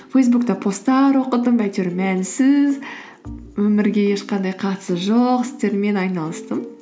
фейсбукта посттар оқыдым әйтеуір мәнсіз өмірге ешқандай қатысы жоқ істермен айналыстым